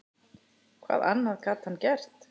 Hvað annað gat hann gert?